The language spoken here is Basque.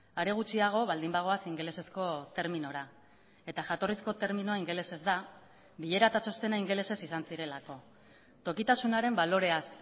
are gutxiago baldin bagoaz ingelesezko terminora eta jatorrizko terminoa ingelesez da bilera eta txostena ingelesez izan zirelako tokitasunaren baloreaz